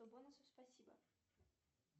бонусов спасибо